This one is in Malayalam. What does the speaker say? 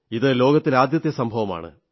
ഇത് ലോകത്തിൽ ആദ്യത്തെ സംഭവമാണ്